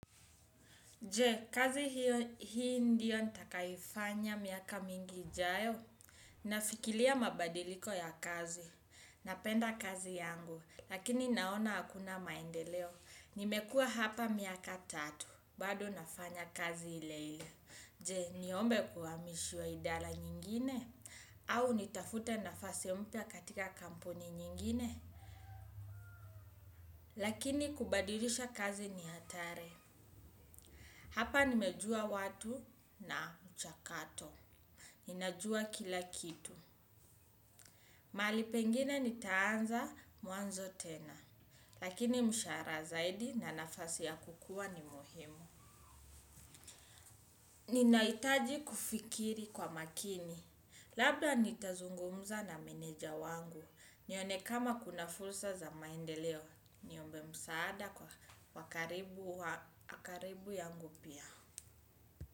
Je, kazi hiyo hii ndiyo nitakayoifanya miaka mingi ijayo. Nafikiria mabadiliko ya kazi. Napenda kazi yangu, lakini naona hakuna maendeleo. Nimekuwa hapa miaka tatu, bado nafanya kazi ile ile. Je, niombe kuamishwa idara nyingine? Au nitafute nafasi mpya katika kampuni nyingine? Lakini kubadilisha kazi ni hatari. Hapa nimejua watu na michakato. Ninajua kila kitu. Mahali pengine nitaanza mwanzo tena. Lakini mshahara zaidi na nafasi ya kukuwa ni muhimu. Ninahitaji kufikiri kwa makini. Labda nitazungumza na meneja wangu. Nione kama kuna fursa za maendeleo. Niombe msaada kwa wa karibu ya nguvu.